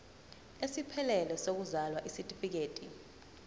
esiphelele sokuzalwa isitifikedi